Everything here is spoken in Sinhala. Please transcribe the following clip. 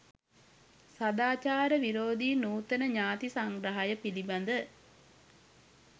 සාදාචාර විරෝධී නූතන ඥාතී සංග්‍රහය පිළිබඳ